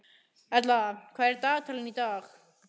Erla, hvað er í dagatalinu í dag?